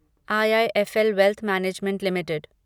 IIFL Wealth Management limited